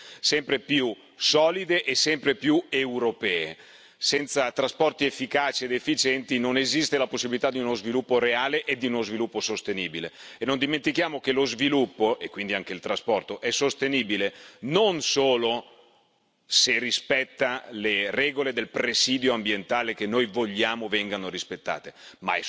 Senza trasporti efficaci ed efficienti non esiste la possibilità di uno sviluppo reale e di uno sviluppo sostenibile e non dimentichiamo che lo sviluppo, e quindi anche il trasporto, è sostenibile non solo se rispetta le regole del presidio ambientale, che noi vogliamo vengano rispettate, ma è sostenibile se tiene anche dal punto di vista economico e tiene nel tempo.